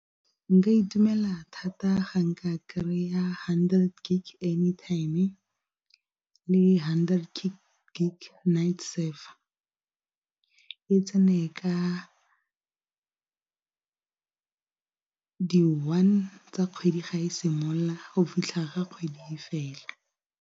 Nka itumela thata ga nka kry-a hundred gig anytime le hundred gig night server. E tsene ka di one tsa kgwedi ga e simolola go fitlha ga kgwedi fela.